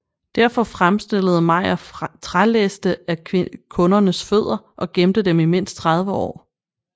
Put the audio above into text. Derfor fremstillede Mayr trælæste af kundernes fødder og gemte dem i mindst 30 år